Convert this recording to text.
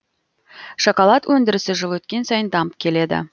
шоколад өндірісі жыл өткен сайын дамып келеді